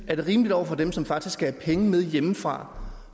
er det rimeligt over for dem som faktisk skal have penge med hjemmefra